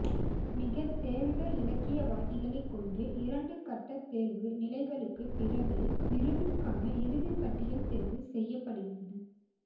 மிகத் தேர்ந்த இலக்கியவாதிகளைக் கொண்டு இரண்டு கட்ட தேர்வு நிலைகளுக்குப் பிறகே விருதுக்கான இறுதிப் பட்டியல் தேர்வு செய்யப்படுகிறது